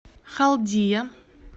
халдия